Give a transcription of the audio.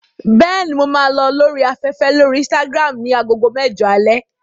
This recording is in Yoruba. Bẹ́ẹ̀ni, mo máa lọ lórí afẹ́fẹ́ lórí Instagram ní agogo mẹ́jọ alẹ́.